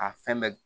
A fɛn bɛɛ